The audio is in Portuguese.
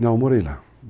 Não, eu morei lá.